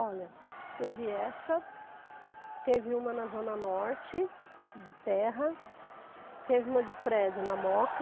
Olha, teve essa, teve uma na Zona Norte, de terra, teve uma de prédio na Moca,